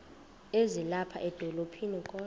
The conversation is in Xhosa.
ezilapha edolophini kodwa